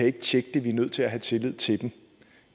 ikke tjekke det vi er nødt til have tillid til dem